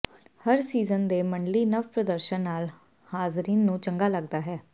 ਹਰ season ਦੇ ਮੰਡਲੀ ਨਵ ਪ੍ਰਦਰਸ਼ਨ ਨਾਲ ਹਾਜ਼ਰੀਨ ਨੂੰ ਚੰਗਾ ਲੱਗਦਾ ਹੈ